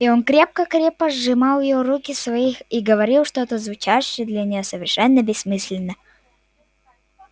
и он крепко-крепко сжимал её руки в своих и говорил что-то звучавшее для неё совершенно бессмысленно